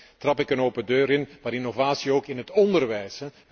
Ja, daarmee trap ik een open deur in, maar innovatie ook in het onderwijs.